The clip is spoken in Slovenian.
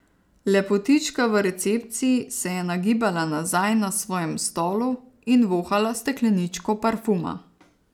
Lepotička v recepciji se je nagibala nazaj na svojem stolu in vohala stekleničko parfuma.